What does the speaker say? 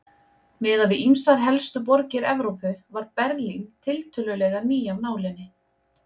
Miðað við ýmsar helstu borgir Evrópu var Berlín tiltölulega ný af nálinni.